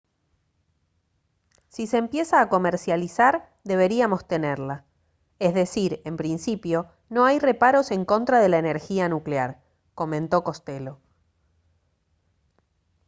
«si se empieza a comercializar deberíamos tenerla. es decir en principio no hay reparos en contra de la energía nuclear» comentó costello